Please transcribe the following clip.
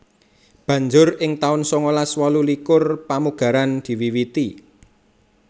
Banjur ing taun sangalas wolu likur pamugaran diwiwiti